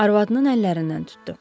Arvadının əllərindən tutdu.